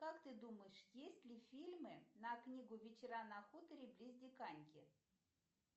как ты думаешь есть ли фильмы на книгу вечера на хуторе близ диканьки